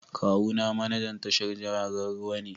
Kawuna manajan tashar jiragen ruwa ne